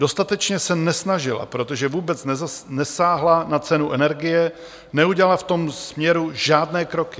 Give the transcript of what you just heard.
Dostatečně se nesnažila, protože vůbec nesáhla na cenu energie, neudělala v tom směru žádné kroky.